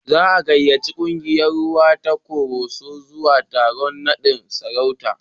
Za a gayyaci kungiyar rawa ta Koroso zuwa taron naɗin sarauta.